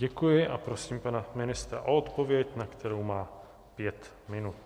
Děkuji a prosím pana ministra o odpověď, na kterou má pět minut.